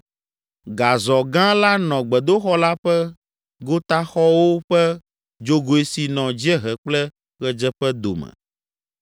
Gazɔ gã la nɔ gbedoxɔ la ƒe gotaxɔwo ƒe dzogoe si nɔ dziehe kple ɣedzeƒe dome.